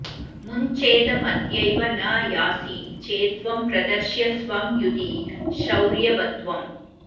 मुञ्चेदमद्यैव न यासि चेत्त्वं प्रदर्शय स्वं युधि शौर्यवत्त्वम्